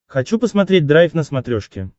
хочу посмотреть драйв на смотрешке